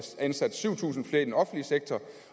ansat syv tusind flere i den offentlige sektor